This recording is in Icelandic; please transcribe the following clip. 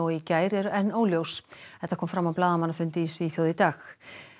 í gær eru enn óljós þetta kom fram á blaðamannafundi í Svíþjóð í dag